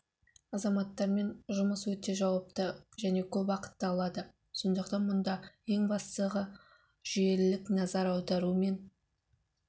азаматтармен жұмыс өте жауапты және көп уақытты алады сондықтан мұнда ең бастығы жүйелілік назар аудару мен